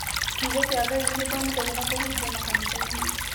Kiugo kĩa Ngai nĩ gĩthomithagio na kũhunjio makanitha-inĩ.